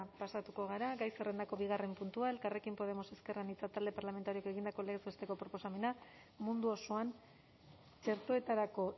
pasatuko gara gai zerrendako bigarren puntua elkarrekin podemos ezker anitza talde parlamentarioak egindako legez besteko proposamena mundu osoan txertoetarako